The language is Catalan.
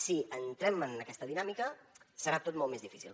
si entrem en aquesta dinàmica serà tot molt més difícil